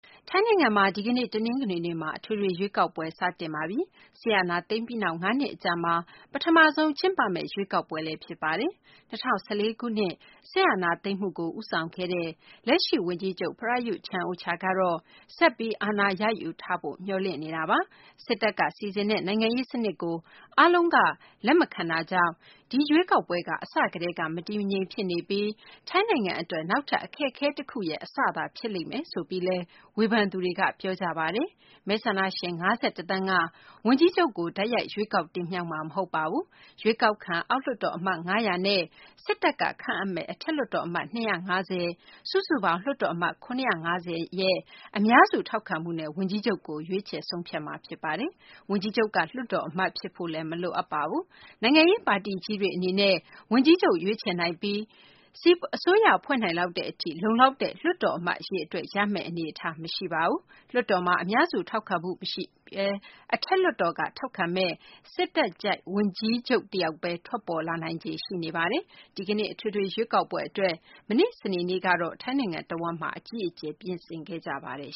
ထိုင်းနိုင်ငံမှာ ဒီကနေ့ တနင်္ဂနွေနေ့မှာ အထွေထွေ ရွေးကောက်ပွဲ စတင် ကျင်းပပါပြီ။ စစ်အာဏာသိမ်းပြီးနောက် ၅ နှစ်အကြာမှာ ပထမဆုံးကျင်းပမယ့် ရွေးကောက်ပွဲလည်း ဖြစ်ပါတယ်။ ၂၀၁၄ ခုနှစ် စစ်အာဏာသိမ်းမှုကို ဦးဆောင်ခဲ့သူ လက်ရှိ ဝန်ကြီးချုပ် Prayuth Chan-ocha ကတော့ ဆက်ပြီး အာဏာရယူထားဖို့ မျှော်လင့်နေတာပါ။ စစ်တပ်က စီစဉ်ထားတဲ့ နိုင်ငံရေး စနစ်ကို အားလုံးက လက်မခံတာကြောင့် ဒီရွေးကောက်ပွဲက အစကတည်းက မတည်မငြိမ် ဖြစ်နေပြီး ထိုင်းနိုင်ငံ အတွက် နောက်ထပ် အခက်အခဲ တခုရဲ့ အစသာ ဖြစ်လာလိမ့်မယ်လို့လည်း ဝေဖန်သူတွေက ပြောကြပါတယ်။ မဲဆန္ဒရှင် ၅၁ သန်းက ဝန်ကြီးချုပ်ကို တိုက်ရိုက် ရွေးကောက် တင်မြှောက်မှာ မဟုတ်ပါဘူး။ ရွေးကောက်ခံ အောက်လွှတ်တော် အမတ် ၅၀၀နဲ့ စစ်တပ်က ခန့်အပ်မယ့် အထက်လွှတ်တော် အမတ် ၂၅၀ စုစုပေါင်း လွှတ်တော် အမတ် ၇၅၀ ရဲ့ အများစု ထောက်ခံမှုနဲ့ ဝန်ကြီးချုပ်ကို ရွေးချယ် ဆုံးဖြတ်မှာ ဖြစ်ပါတယ်။ ဝန်ကြီးချုပ်က လွှတ်တော် အမတ် ဖြစ်ဖို့လည်း မလိုအပ်ပါဘူး။ နိုင်ငံရေး ပါတီကြီးတွေ အနေနဲ့ ဝန်ကြီးချုပ် ရွေးချယ်နိုင်ပြီး အစိုးရဖွဲ့နိုင်လောက်တဲ့ အထိ လုံလောက်တဲ့ လွှတ်တော် အမတ် အရေအတွက် ရမယ့် အနေအထား မရှိပါဘူး။ လွှတ်တော်မှာ အများစု ထောက်ခံမှု မရှိဘဲ အထက်လွှတ်တော်က ထောက်ခံမယ့် စစ်တပ်ကြိုက် ဝန်ကြီးချုပ် တယောက်ဘဲ ထွက်ပေါ်လာနိုင်ခြေ ရှိနေပါတယ်။ ဒီကနေ့ အထွေထွေ ရွေးကောက်ပွဲ အတွက် မနေ့ စနေနေ့တုန်းကတော့ ထိုင်းနိုင်ငံ တဝန်းမှာ အကြီးအကျယ် ပြင်ဆင်ခဲ့ကြပါတယ်